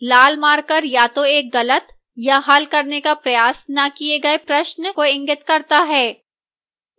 लाल marker या तो एक गलत या हल करने का प्रयास न किए गए प्रश्न को इंगित करता है